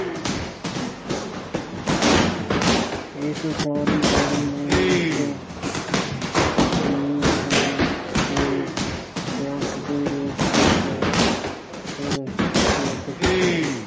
ਇਸ ਸਾਰੀ ਬਾਣੀ ਨੂੰ ਇੱਕ ਤਰਤੀਬ ਦੇ ਕੇ ਗ੍ਰੰਥ ਦੇ ਰੂਪ ਵਿੱਚ ਸੁਰੱਖਿਅਤ ਕੀਤਾ।